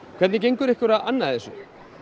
hvernig gengur ykkur að anna þessu